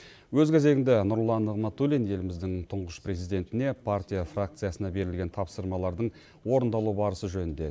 өз кезегінде нұрлан нығматулин еліміздің тұңғыш президентіне партия фракциясына берілген тапсырмалардың орындалу барысы жөнінде